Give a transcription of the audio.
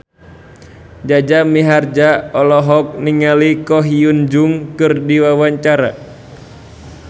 Jaja Mihardja olohok ningali Ko Hyun Jung keur diwawancara